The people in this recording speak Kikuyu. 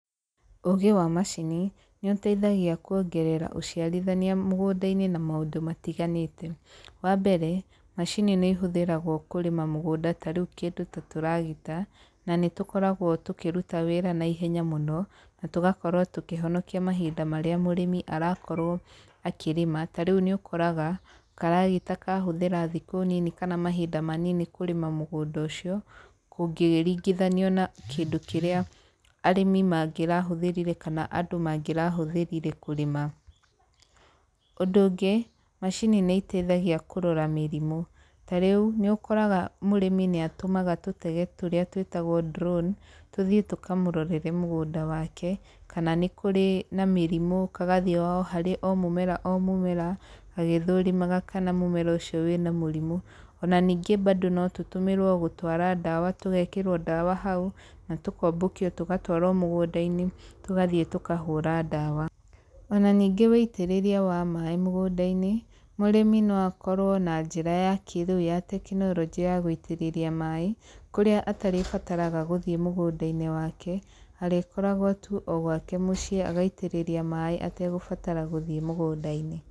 Ũũgĩ wa macini, nĩ ũteithagia kuongerera ũciarithania mũgũnda-inĩ na maũndũ matiganĩte. Wa mbere, macini nĩ ĩhũthĩragwo kũrĩma mũgũnda, ta rĩu kĩndũ ta tũragita, na nĩ tũkoragwo tũkĩruta wĩra naihenya mũno, na tũgakorwo tũkĩhonokia mahinda marĩa mũrĩmi arakorwo akĩrĩma. Tarĩu nĩ ũkoraga, karagita kahũthĩra thikũ nini kana mahinda manini kũrĩma mũgũnda ũcio, gũkĩringithanio na kĩndũ kĩrĩa arĩmi mangĩrahũthĩrire kana andũ mangĩrahũthĩrire kũrĩma. Ũndũ ũngĩ, macini nĩ iteithagia kũrora mĩrimũ. Tarĩu, nĩũkoraga mũrĩmi nĩ atũmaga tũtege tũrĩa twĩtagwo drone, tũthiĩ tũkamũrorere mũgũnda wake, kana nĩ kũrĩ na mĩrimũ, kagathiĩ o harĩa o mũmera o mũmera, gagĩthũrimaga kana mũmera ũcio wĩna mũrimũ. Ona ningĩ bado no tũtũmĩrwo gũtwara ndawa, tũgekĩrwo ndawa hau, na tũkombũkio tũgatũarwo mũgũnda-inĩ, tũgathiĩ tũkahũra ndawa. Ona ningĩ wĩitĩrĩria wa maĩ mũgũnda-inĩ, mũrĩmi no akorwo na njĩra ya kĩrĩu ya tekinoronjĩ ya gũitĩrĩria maĩ, kũrĩa atarĩbataraga gũthiĩ mũgũnda-inĩ wake, arĩkoragwo tu o gwake mũciĩ agaitĩrĩria maĩ ategũbatara gũthiĩ mũgũnda-inĩ.